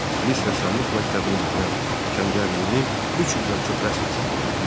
Tiflis Rəssamlıq məktəbini bitirən Kəngərlinin 300-dən çox rəsm əsəri vardı.